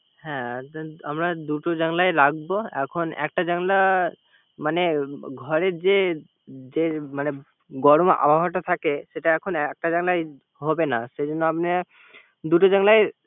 হ্যা আমরা দুটো জানলা ই রাখবো। এখন একটা জানলা মানে ঘরের যে মানে যে গরম হাওয়াটা থাকে সেটা এখন একটা জানলায় হবে না। সে জন্য দুটো জানলাই